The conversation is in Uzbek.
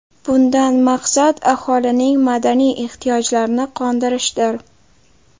Bundan maqsad aholining madaniy ehtiyojlarini qondirishdir.